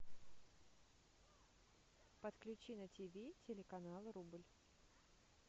подключи на тв телеканал рубль